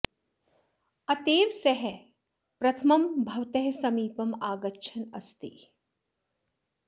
अत एव सः प्रथमं भवतः समीपम् आगच्छन् अस्ति